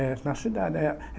É, na cidade.